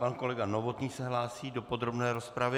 Pan kolega Novotný se hlásí do podrobné rozpravy.